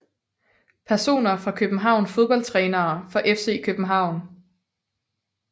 Personer fra København Fodboldtrænere for FC København